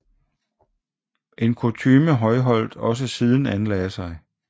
En kutyme Højholt også siden anlagde sig